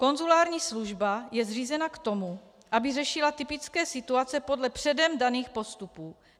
Konzulární služba je zřízena k tomu, aby řešila typické situace podle předem daných postupů.